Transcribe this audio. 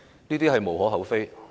這是無可厚非的。